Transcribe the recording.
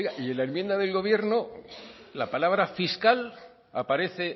oiga y en la enmienda del gobierno la palabra fiscal aparece